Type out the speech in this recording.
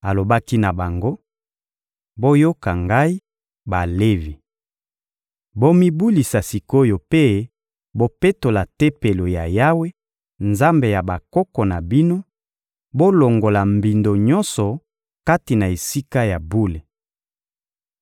Alobaki na bango: — Boyoka ngai, Balevi! Bomibulisa sik’oyo mpe bopetola Tempelo ya Yawe, Nzambe ya bakoko na bino; bolongola mbindo nyonso kati na Esika ya bule.